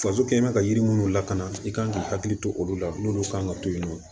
Faso kɛɲɛn mɛ ka yiri minnu lakana i kan k'i hakili to olu la n'olu kan ka to yen nɔ